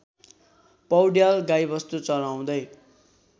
पौड्याल गाईवस्तु चराउँदै